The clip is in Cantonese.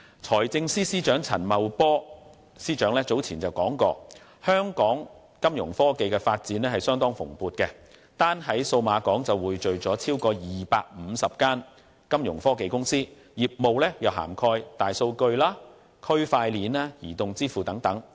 財政司司長陳茂波早前提出，香港金融科技發展相當蓬勃，單在數碼港便匯聚了超過250家金融科技公司，業務涵蓋大數據、區塊鏈、移動支付等。